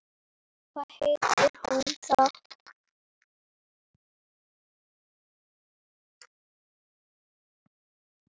Hvað heitir hún þá?